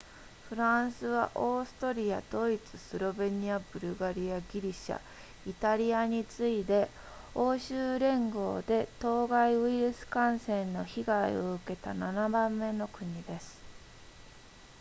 フランスはオーストリアドイツスロベニアブルガリアギリシャイタリアに次いで欧州連合で当該ウイルス感染の被害を受けた7番目の国です